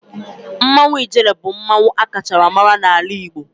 Mmanwu ijele bu mmanwu a kacha mara n'ala Igbo